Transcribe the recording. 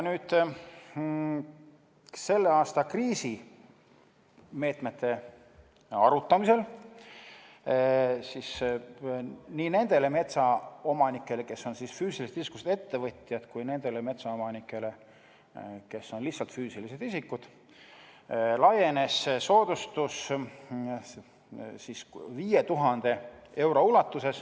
Selle aasta kriisimeetmete arutamisel laienes soodustus, mida saab tulust maha arvata, 5000 euroni nii nendele metsaomanikele, kes on füüsilisest isikust ettevõtjad, kui ka nendele metsaomanikele, kes on lihtsalt füüsilised isikud.